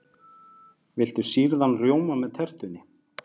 Viltu sýrðan rjóma með tertunni?